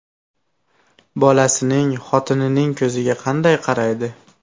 Bolasining, xotinining ko‘ziga qanday qaraydi?